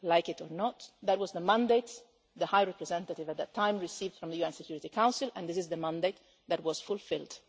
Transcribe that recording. Like it or not, that was the mandate the High Representative at that time received from the UN Security Council, and this is the mandate that was fulfilled.